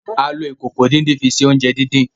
A lo Ìkòkò ìdín-nǹkan fi ṣe oúnjẹ dín dín.